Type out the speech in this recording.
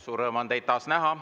Suur rõõm on teid taas näha.